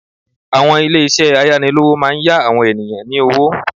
Àwọn ilé ìṣẹ́ ayánilówó máa n yá àwọn ènìyàn ní owó